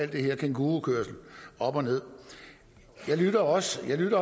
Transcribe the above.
her kængurukørsel jeg lyttede også til